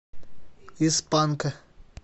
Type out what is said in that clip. из панка